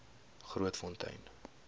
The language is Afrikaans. grootfontein